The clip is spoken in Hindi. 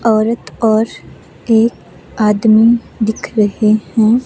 औरत और एक आदमी दिख रहे हैं।